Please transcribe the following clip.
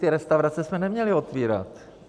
Ty restaurace jsme neměli otvírat.